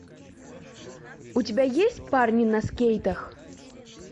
у тебя есть парни на скейтах